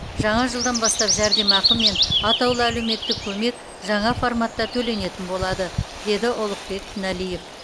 жаңа жылдан бастап жәрдемақы мен атаулы әулеметтік көмек жаңа форматта төленетін болады деді ұлықбек тіналиев